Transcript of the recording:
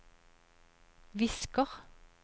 visker